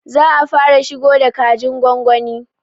Za a fara shigo da kajin gwagwani